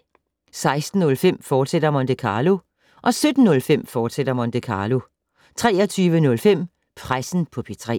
16:05: Monte Carlo, fortsat 17:05: Monte Carlo, fortsat 23:05: Pressen på P3